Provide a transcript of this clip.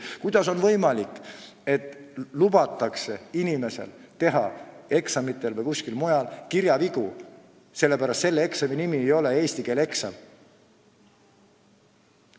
Kuidas on võimalik, et lubatakse inimesel teha eksamitel või kuskil mujal kirjavigu, sellepärast et tegu ei ole eesti keele eksamiga?